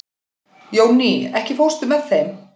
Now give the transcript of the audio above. Jónný, ekki fórstu með þeim?